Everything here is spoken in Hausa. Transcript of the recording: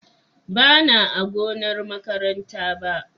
Bana a gonar makaranta ba.